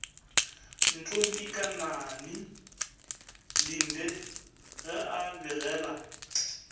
ntombikanani linde ge a begela